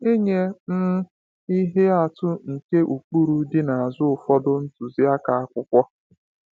Nye um ihe atụ nke ụkpụrụ dị n’azụ ụfọdụ ntuziaka akwụkwọ.